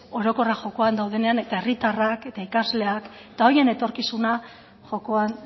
orokorrak jokoan daudenean eta herritarrak eta ikasleak eta horien etorkizuna jokoan